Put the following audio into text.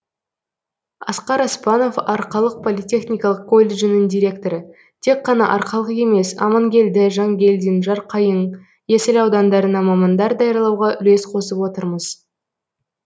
асқар оспанов арқалық политехникалық колледжінің директоры тек қана арқалық емес амангелді жангелдин жарқайың есіл аудандарына мамандар даярлауға үлес қосып отырмыз